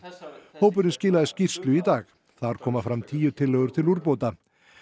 hópurinn skilaði skýrslu í dag þar koma fram tíu tillögur til úrbóta